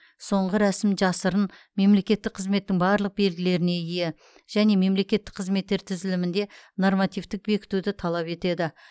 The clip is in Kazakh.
соңғы рәсім жасырын мемлекеттік қызметтің барлық белгілеріне ие және мемлекеттік қызметтер тізілімінде нормативтік бекітуді талап етеді